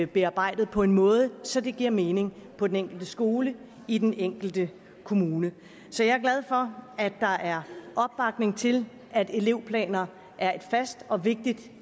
bearbejdet på en måde så det giver mening på den enkelte skole i den enkelte kommune så jeg er glad for at der er opbakning til at elevplaner er et fast og vigtigt